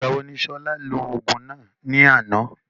Ìgbà wo ni Ṣọlá lò òògùn ní àná?